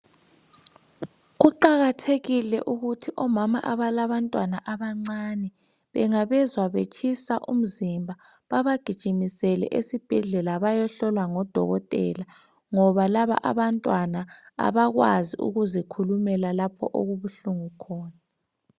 Kuqakathekile ukuthi omama abalantwana abancane bengabezwa betshisa umzimba bebagijimisele esibhedlela bayehlolwa ngodokotela ngoba labantwana abakwazi ukuzikhulumela lapho okubuhlungu khona.